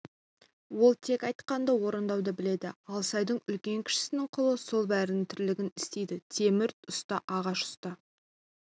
ол тек айтқанды орындауды біледі алсайдың үлкен-кішісінің құлы сол бәрінің тірлігін істейді темір ұста ағаш ұста